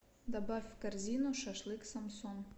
добавь в корзину шашлык самсон